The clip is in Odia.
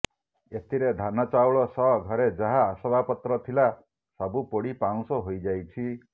ଏଥିରେ ଧାନ ଚାଉଳ ସହ ଘରେ ଯାହା ଆସବାବ ପତ୍ର ଥିଲା ସବୁ ପୋଡି ପାଉଁଶ ହୋଇଯାଇଛି